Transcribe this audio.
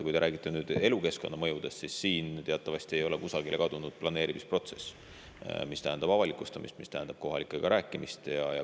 Kui te räägite mõjust elukeskkonnale, siis teatavasti ei ole kusagile kadunud planeerimisprotsess, mis tähendab avalikustamist, mis tähendab kohalikega rääkimist.